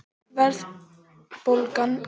verðbólgan róaðist ekki fyrr en ári síðar